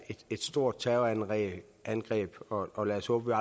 stort terrorangreb og lad os håbe